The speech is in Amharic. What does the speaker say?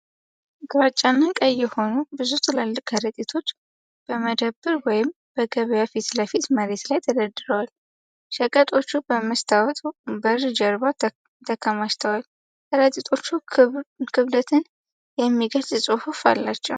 ግራጫና ቀይ የሆኑ ብዙ ትላልቅ ከረጢቶች በመደብር ወይም በገበያ ፊት ለፊት መሬት ላይ ተደርድረዋል። ሸቀጦቹ በመስታወት በር ጀርባ ተከማችተዋል። ከረጢቶቹ ክብደትን የሚገልጽ ጽሑፍ አላቸው።